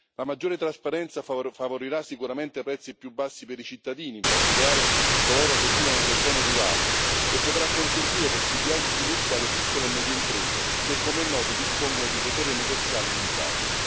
La maggiore trasparenza favorirà sicuramente prezzi più bassi per i cittadini, in particolare coloro che vivono nelle zone rurali, e potrà consentire possibilità di sviluppo alle piccole e medie imprese che, come è noto, dispongono di potere negoziale limitato.